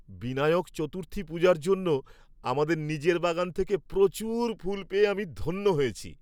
বিনায়ক চতুর্থী পূজার জন্য আমাদের নিজের বাগান থেকে প্রচুর ফুল পেয়ে আমি ধন্য হয়েছি।